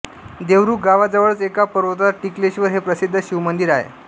देवरुख गावाजवळच एका पर्वतात टिकलेश्वर हे प्रसिद्ध शिवमंदिर आहे